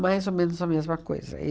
mais ou menos a mesma coisa.